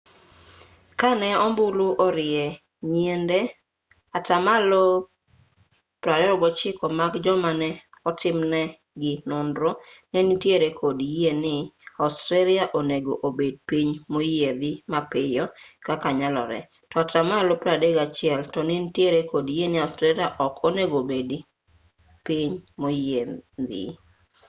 ka ne ombulu orie nyiende atamalo 29 mag joma ne otimnegi nonro ne nitiere kod yie ni australia onego obed piny moyiedhi mapiyo kaka nyalore to atamalo 31 to nitiere kod yie ni australia ok onego obed piny moyiedhi